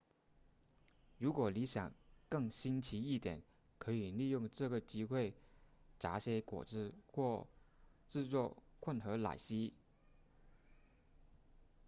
如果你想更新奇一点可以利用这个机会榨些果汁或制作混合奶昔